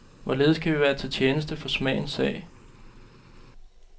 Hvorledes kan vi være til tjeneste for smagens sag?